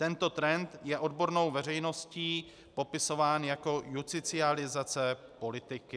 Tento trend je odbornou veřejností popisován jako justicializace politiky.